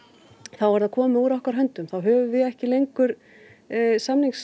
þá er það komið úr okkar höndum þá höfum við ekki lengur